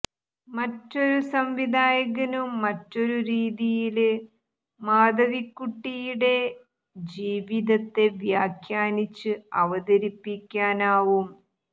മറ്റൊരു സംവിധായകനു മറ്റൊരു രീതിയില് മാധവിക്കുട്ടിയിടെ ജീവിതത്തെ വ്യാഖ്യാനിച്ച് അവതരിപ്പിക്കാനാവും